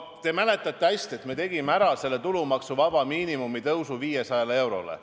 Te mäletate hästi, et me tegime ära selle tulumaksuvaba miinimumi tõusu 500 eurole.